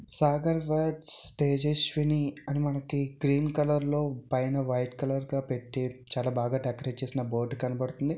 Sagar weds Tejaswini అని మనకి green colour లో పైన వైట్ కలర్ గా పెట్టి చాలా బాగా డేకారేట్ చేసిన బోర్డు కనబడుతుంది.